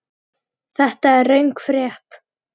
Þetta er röng frétt.